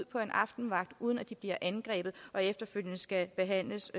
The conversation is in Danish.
på aftenvagt uden at de bliver angrebet og efterfølgende skal behandles